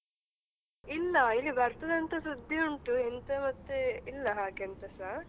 ಇಲ್ಲ ಇಲ್ಲಿ ಬರ್ತದಂತಾ ಸುದ್ದಿ ಉಂಟು, ಎಂತ ಮತ್ತೆ ಇಲ್ಲ ಹಾಗೆಂತ ಸಹ.